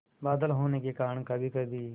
बादल होने के कारण कभीकभी